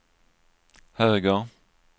höger